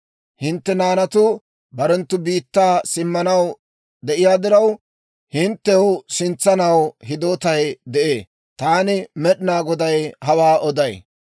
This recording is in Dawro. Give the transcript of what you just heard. Hintte naanatuu barenttu biittaa simmanaw de'iyaa diraw, hinttew sintsanaw hidootay de'ee. Taani Med'inaa Goday hawaa oday.